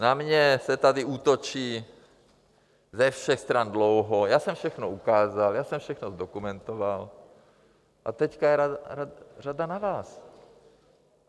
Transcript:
Na mě se tady útočí ze všech stran dlouho, já jsem všechno ukázal, já jsem všechno zdokumentoval a teď je řada na vás.